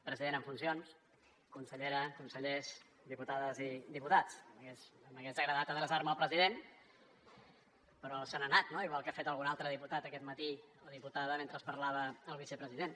president en funcions consellera consellers diputades i diputats m’hagués agradat adreçar me al president però se n’ha anat no igual que ha fet algun altre diputat aquest matí o diputada mentre parlava el vicepresident